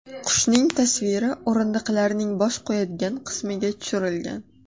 Qushning tasviri o‘rindiqlarning bosh qo‘yadigan qismiga tushirilgan.